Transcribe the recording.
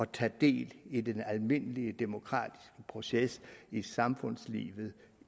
tage del i den almindelige demokratiske proces i samfundslivet